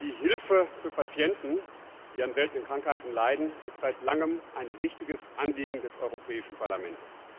Die Hilfe für Patienten, die an seltenen Krankheiten leiden, ist seit langem ein wichtiges Anliegen des Europäischen Parlaments.